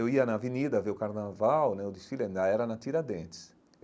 Eu ia na avenida ver o carnaval né, o desfile ainda era na Tiradentes.